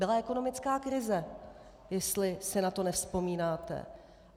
Byla ekonomická krize, jestli si na to nevzpomínáte.